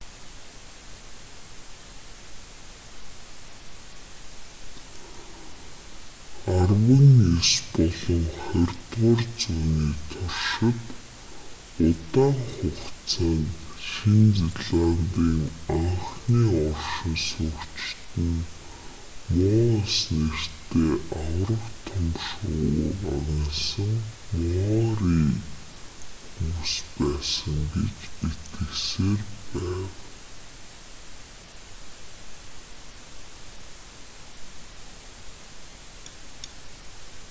арван ес болон хорьдугаар зууны туршид удаан хугацаанд шинэ зеландын анхны оршин суугчид нь моас нэртэй аварга том шувууг агнасан маори хүмүүс байсан гэж итгэсээр байв